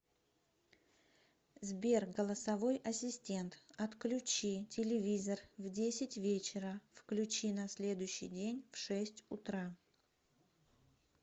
сбер голосовой ассистент отключи телевизор в десять вечера включи на следующий день в шесть утра